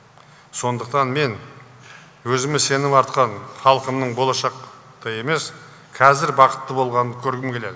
сондықтан мен өзіме сенім артқан халқымның болашақта емес қазір бақытты болғанын көргім келеді